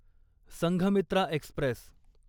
Sanghamitra Express